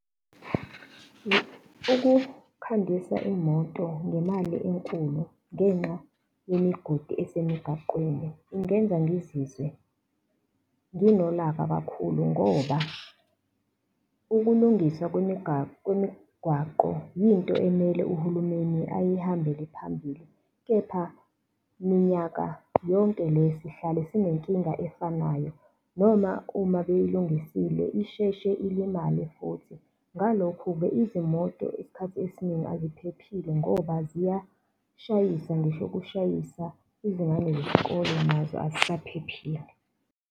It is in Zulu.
Ukukhandisa imoto ngemali enkulu ngenxa yemigodi esemigaqweni, ingenza ngizizwe nginolaka kakhulu ngoba ukulungiswa kwemigwaqo yinto emele uhulumeni eyihambele phambili, kepha minyaka yonke le sihlale sinenkinga efanayo, noma uma beyilungisile, isheshe ilimale futhi. Ngalokho-ke izimoto isikhathi esiningi aziphephile ngoba ziyashayisa, ngisho ukushayisa izingane zesikole nazo azisaphephile.